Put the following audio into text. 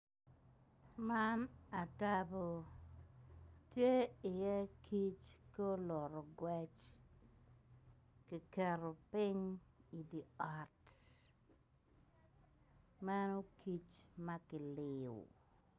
Man atabo tye i ye kic guluto gwec kiketo ping idi ot meno kic makiliyo.